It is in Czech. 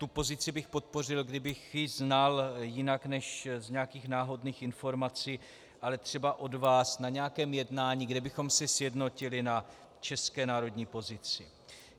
Tu pozici bych podpořil, kdybych ji znal jinak než z nějakých náhodných informací, ale třeba od vás na nějakém jednání, kde bychom se sjednotili na české národní pozici.